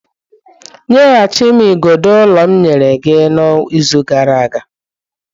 Nyeghachi m igodo ụlọ m nyere gị izu gara aga.